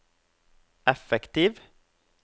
effektiv